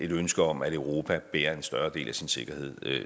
ønske om at europa bærer en større del af sin sikkerhed